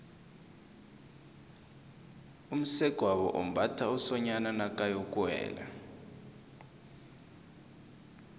umsegwabo umbatha umsonyani nakayokuwela